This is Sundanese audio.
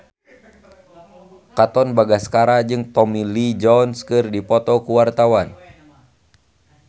Katon Bagaskara jeung Tommy Lee Jones keur dipoto ku wartawan